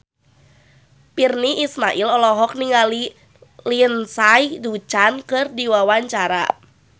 Virnie Ismail olohok ningali Lindsay Ducan keur diwawancara